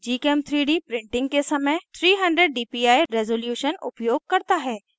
gchem3d printing के समय 300 dpi resolution उपयोग करता है